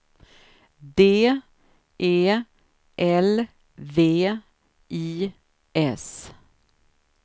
D E L V I S